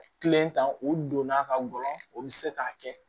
Kelen ta o don n'a ka gɔbɔnɔn o bɛ se k'a kɛ